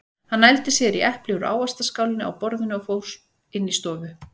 Hann nældi sér í epli úr ávaxtaskálinni á borðinu og fór inn í stofu.